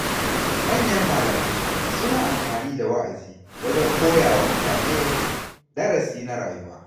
Manyan malamai suna amfani da wa’azi wajen koya wa mutane darasi na rayuwa.